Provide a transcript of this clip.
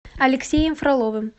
алексеем фроловым